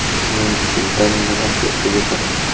Men bundan nimaga ega bo‘laman?